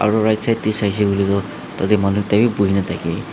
aro right side tae saishey koilae tu tatae manu ekta bi buhina thakae.